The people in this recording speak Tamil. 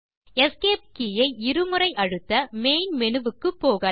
எஸ்கேப் கே ஐ இரு முறை அழுத்த மெயின் மேனு க்கு போகலாம்